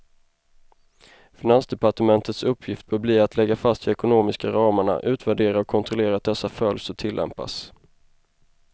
Finansdepartementets uppgift bör bli att lägga fast de ekonomiska ramarna, utvärdera och kontrollera att dessa följs och tillämpas.